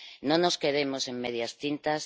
No nos quedemos en medias tintas.